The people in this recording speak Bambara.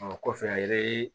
Ɔ kɔfɛ a ye